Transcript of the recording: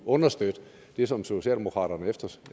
understøtte det som socialdemokraterne